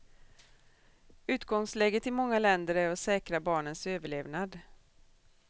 Utgångsläget i många länder är att säkra barnens överlevnad.